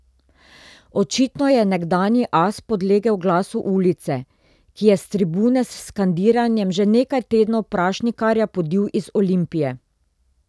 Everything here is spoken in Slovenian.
Očitno je nekdanji as podlegel glasu ulice, ki je s tribune s skandiranjem že nekaj tednov Prašnikarja podil iz Olimpije.